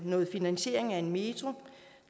noget finansiering af en metro